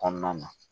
Kɔnɔna na